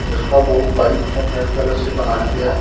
जिसका board white और red colour से बनाया गया है।